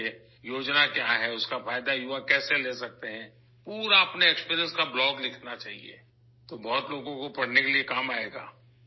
یہ کیسی اسکیم ہے؟ نوجوان اس سے کیسے فائدہ اٹھا سکتے ہیں، اپنے تجربے سے بھرپور بلاگ لکھیں، پھر بہت سے لوگوں کے لیے پڑھنا مفید ہوگا